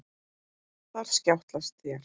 Þar skjátlast þér.